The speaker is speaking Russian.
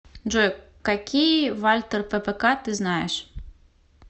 джой какие вальтер ппк ты знаешь